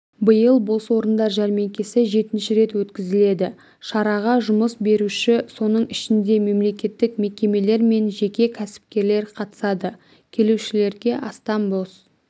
биыл бос орындар жәрмеңкесі жетінші рет өткізіледі шараға жұмыс беруші соның ішінде мемлекеттік мекемелер мен жеке кәсіпкерлер қатысады келушілерге астам бос